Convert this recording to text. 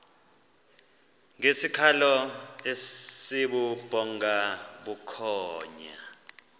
ngesikhalo esibubhonga bukhonya